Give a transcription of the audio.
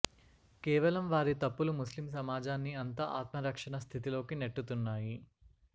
కేవలం వారి తప్పులు ముస్లిం సమాజా న్ని అంతా ఆత్మరక్షణ స్థితిలోకి నెట్టుతున్నాయి